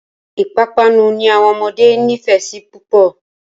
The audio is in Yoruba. Ìpapánu ni àwọn ọmọdé nífẹ̀ẹ́ sí púpọ̀.